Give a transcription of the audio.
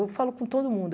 Eu falo com todo mundo.